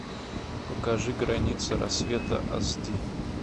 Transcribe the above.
покажи граница рассвета ас ди